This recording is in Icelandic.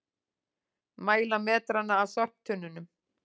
Mæla metrana að sorptunnunum